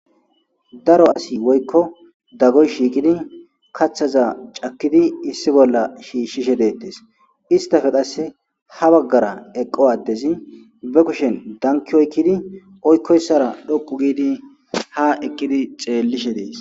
Daro asiy woyko dagoy shiqidi kathaza cakidi issi bolla shishise detes isstape qaseka ha bagara eqo adezi be kushen danki oykidi oykoysara dhoqi gidi ha ekidi xellishe dees